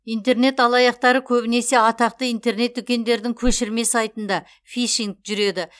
интернет алаяқтары көбінесе атақты интернет дүкендердің көшірме сайтында фишинг жүреді